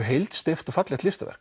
heilsteypt og fallegt listaverk